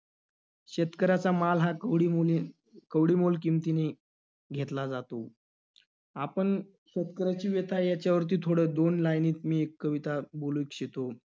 शेतकऱ्याचा माल हा कवडीमोली~ कवडीमोल किमतीने घेतला जातो. आपण 'शेतकऱ्याची व्यथा' याच्यावरती थोडं दोन line मध्ये मी एक कविता बोलू इच्छितो.